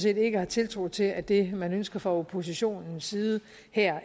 ikke har tiltro til at det man ønsker fra oppositionens side her